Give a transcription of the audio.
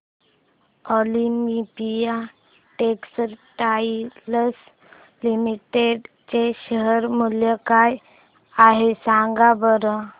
Olympia textiles limited चे share मूल्य काय आहे सांगा बरं